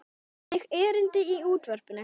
Einnig erindi í útvarp.